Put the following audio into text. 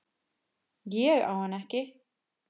Ég á hana ekki.